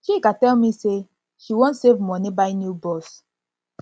chika tell me say she wan save money buy new bus